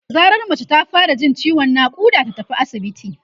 da zarar mace ta fara Jin ciwon naƙuda ta tafi asibiti